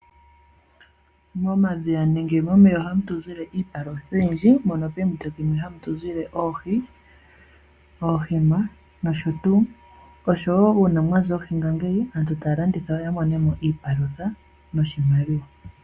Momadhiya nenge momeya ohamu tu zile iipalutha oyindji, moka moompito dhimwe hamu tu zile oohi, oohima nosho tuu. Uuna mwa za oohi aantu ohaya landitha ya mone mo iipalutha noshimaliwa.